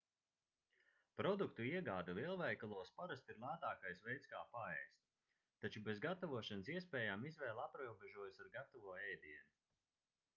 produktu iegāde lielveikalos parasti ir lētākais veids kā paēst taču bez gatavošanas iespējām izvēle aprobežojas ar gatavo ēdienu